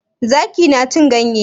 Zaki na cin ganye?